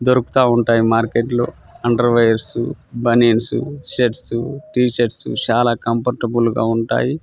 దొరుకుత వుంటై మార్కెట్ లో underwears banians shirts T shirts చాల కంఫర్టబుల్ గా ఉంటాయి.